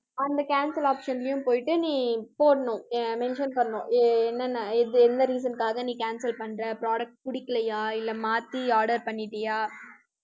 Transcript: அந்த cancel option லையும் போயிட்டு நீ போடணும் எ~ mention பண்ணனும் எ~ என்னென்ன இது என்ன reason னுக்காக நீ cancel பண்ற product பிடிக்கலையா இல்ல மாத்தி order பண்ணிட்டியா